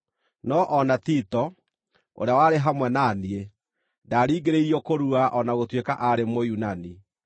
No o na Tito, ũrĩa warĩ hamwe na niĩ, ndaringĩrĩirio kũrua, o na gũtuĩka aarĩ Mũyunani.